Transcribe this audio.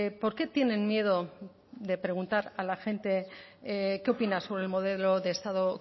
por qué tienen miedo de preguntar a la gente qué opina sobre el modelo de estado